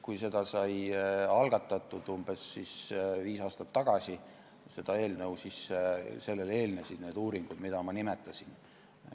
Kui see eelnõu sai umbes viis aastat tagasi algatatud, siis sellele eelnesid need uuringud, mida ma nimetasin.